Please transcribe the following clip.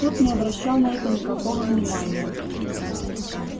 тот не обращал на это никакого внимания